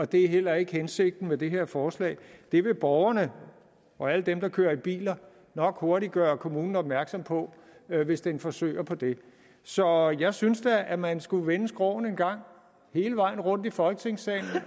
det er heller ikke hensigten med det her forslag det vil borgerne og alle dem der kører bil nok hurtigt gøre kommunen opmærksom på hvis den forsøger på det så jeg synes da at man skulle vende skråen en gang hele vejen rundt i folketingssalen